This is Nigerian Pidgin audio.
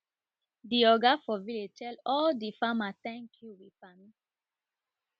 de oga for tell all de farmer ten k you